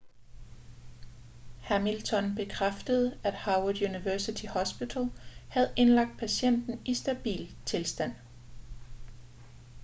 hamilton bekræftede at howard university hospital havde indlagt patienten i stabil tilstand